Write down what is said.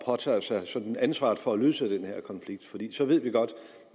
påtager sig ansvaret for at løse den her konflikt for så ved vi godt